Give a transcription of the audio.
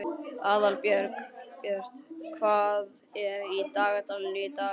Aðalbjört, hvað er í dagatalinu í dag?